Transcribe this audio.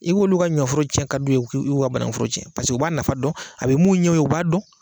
I b'olu ka ɲɔforo tiɲɛ ka don i ku, i b'u ka banankuforo tiɲɛ cɛ pase u b'a nafa dɔn a bɛ mun ɲɛ u ye u b'a dɔn.